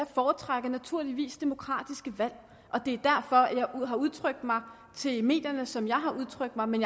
foretrækker naturligvis demokratiske valg og det er derfor jeg har udtrykt mig til medierne sådan som jeg har udtrykt mig men